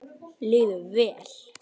Líður vel.